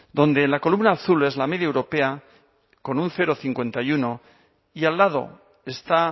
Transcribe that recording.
donde la columna azul es la media europea con cero coma cincuenta y uno y al lado está